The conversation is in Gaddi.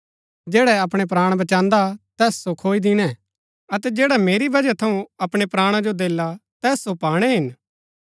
जैडा अपणै प्राण बचांदा तैस सो खोई दिणै अतै जैडा मेरी बजह थऊँ अपणै प्राणा जो देला तैस सो पाणै हिन